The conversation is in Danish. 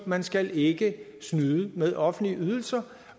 man skal ikke snyde med offentlige ydelser